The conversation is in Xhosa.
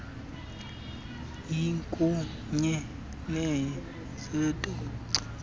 ikunye neye santaco